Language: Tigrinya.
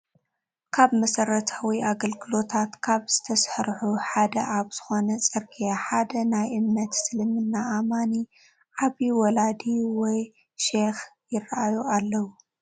ካብ መሰረታዊ ኣገልግሎታት ካብ ዝተሰርሑ ሓደ ኣብ ዝኾነ ፅርግያ ሓደ ናይ እምነት እስልምና ኣማኒ ዓብዬ ወላዲ ወይ ሼኽ ይራኣዩ ኣለው፡፡